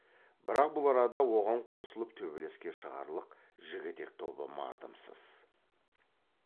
бірақ бұл арада оған қосылып төбелеске шығарлық жігітек тобы мардымсыз